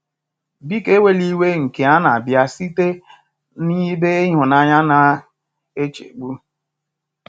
Biko ewela iwe nke a na-abịa site n'ebe ịhụnanya na nchegbu.